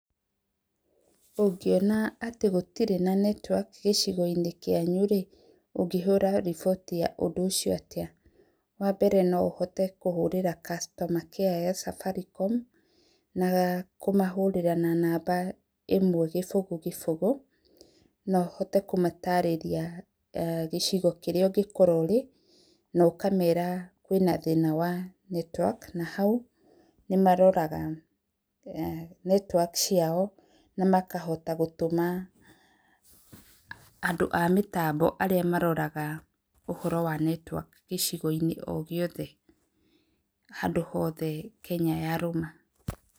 Ũngĩona atĩ gũtirĩ na netiwaki gĩcigo-inĩ kĩanyu rĩ, ũngĩhũra riboti ya ũndũ ũcio atĩa? Wa mbere no ũhote kũhũrĩra customer care ya Safaricom, na kũmahũrĩra na namba ĩmwe kĩbũgũ kĩbũgũ, na ũhote kũmatarĩria gĩcigo kĩrĩa ũngĩkorwo ũrĩ, na ũkamera kwĩ na thĩna wa network na hau nĩ maroraga network ciao na makahota gũtũma andũ a mĩtambo arĩa maroraga ũhoro wa network icigo-inĩ o gĩothe handũ hothe Kenya yarũma.